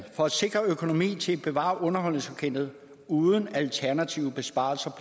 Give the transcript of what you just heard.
for at sikre økonomi til at bevare underholdningsorkestret uden alternative besparelser